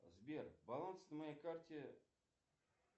сбер баланс на моей карте